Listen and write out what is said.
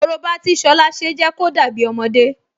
Korobá tí Ṣọlá ṣe jẹ́ kó dàbí ọmọdé